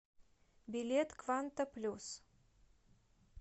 билет кванта плюс